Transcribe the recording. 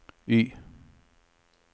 Y